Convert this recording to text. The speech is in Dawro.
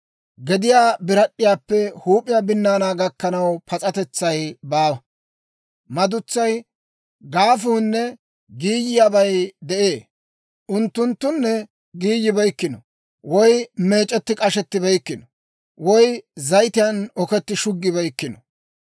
Gediyaa birad'd'iyaappe huup'iyaa binnaanaa gakkanaw pas'atetsay baawa; madutsay, gaafunne giiyiyaabay de'ee; unttunttunne giiyibeykkino, woy meec'etti k'ashettibeykkino, woy zayitiyaan okettiide shuggibeykkino.